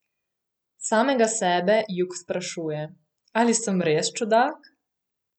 Samega sebe Jug sprašuje: "Ali sem res čudak?